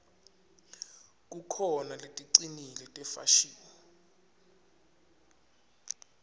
kukhona leticinile tefashini